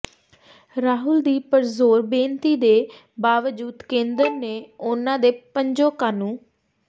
ਰਾਹੁਲ ਦੀ ਪੁਰਜ਼ੋਰ ਬੇਨਤੀ ਦੇ ਬਾਵਜੂਦ ਕੇਂਦਰ ਨੇ ਉਨ੍ਹਾਂ ਦੇ ਪੰਜੋਂ ਕਾਨੂੰ